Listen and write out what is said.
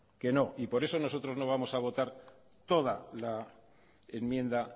que no y por eso nosotros no vamos a votar toda la enmienda